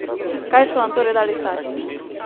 Kaj so vam torej dali starši?